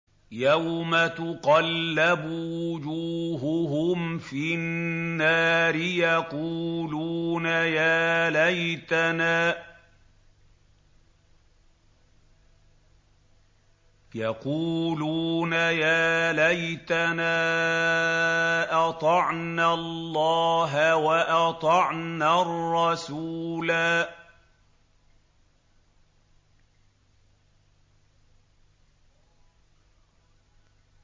يَوْمَ تُقَلَّبُ وُجُوهُهُمْ فِي النَّارِ يَقُولُونَ يَا لَيْتَنَا أَطَعْنَا اللَّهَ وَأَطَعْنَا الرَّسُولَا